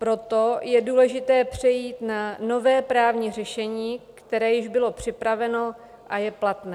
Proto je důležité přejít na nové právní řešení, které již bylo připraveno a je platné.